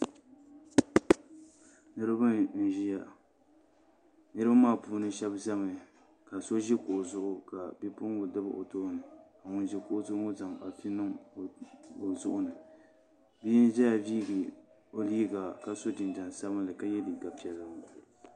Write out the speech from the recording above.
Niraba nʒiya niraba maa puuni shab ʒɛmi ka shab ʒi kuɣu zuɣu ka bipuɣungi dabi o tooni ka ŋun ʒi kuɣu zuɣu ŋo zaŋ afi niŋ o zuɣu ni bia n ʒɛya viigi o liiga ka so jinjɛm sabinli ka yɛ liiga piɛlli ŋo